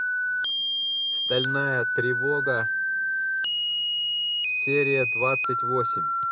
стальная тревога серия двадцать восемь